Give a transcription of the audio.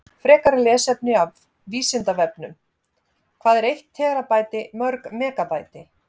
Frekara lesefni af Vísindavefnum: Hvað er eitt terabæti mörg megabæti?